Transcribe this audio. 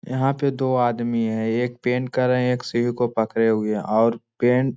यहां पे दो आदमी है एक पेंट कर रहें है और एक सीढ़ी को पकड़े हुए और पेंट --